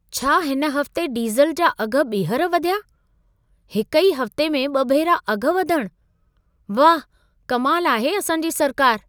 छा हिन हफ़्ते डीज़ल जा अघ ॿीहर वधिया? हिक ई हफ्ते में ॿ भेरा अघ वधण! वाह कमाल आहे असां जी सरकार!